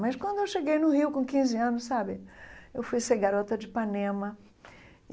Mas quando eu cheguei no Rio com quinze anos sabe, eu fui ser garota de Ipanema.